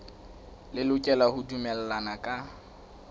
le lokela ho dumellana ka